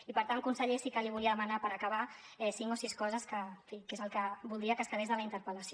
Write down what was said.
i per tant conseller sí que li volia demanar per acabar cinc o sis coses que sí que en fi és el que voldria que es quedés de la interpel·lació